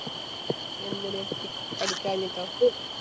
എന്തിനു പഠി പഠിക്കാനിട്ടോ?